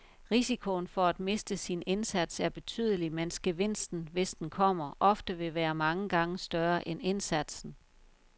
Risikoen for at miste sin indsats er betydelig, mens gevinsten, hvis den kommer, ofte vil være mange gange større end indsatsen.